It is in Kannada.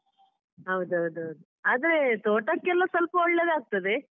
ಹೌದೌದೌದು ಆದ್ರೆ ತೋಟಕ್ಕೆಲ್ಲ ಸ್ವಲ್ಪ ಒಳ್ಳೇದಾಗ್ತದೆ.